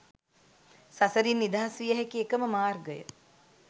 සසරින් නිදහස් විය හැකි එකම මාර්ගය